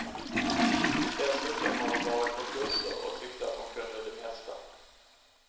Dessutom har hon varit på kurser och tyckte att hon kunde det mesta.